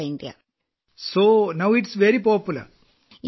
അതിനാൽ ഇപ്പോൾ ഇത് വളരെ ജനപ്രിയമാണ്